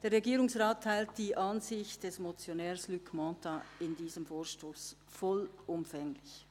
Der Regierungsrat teilt die Ansicht des Motionärs Luc Mentha bei diesem Vorstoss vollumfänglich.